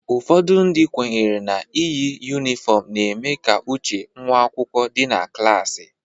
Ụfọdụ ndị kwenyere n'iyi yunifọmu na-eme ka uche ụmụakwụkwọ dị na klasi